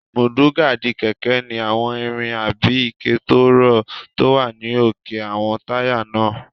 Múdúgáàdì kẹ̀kẹ́ ní àwọn irin àbí ike tó rọ́ tó wà ní òkè àwọn táyà náà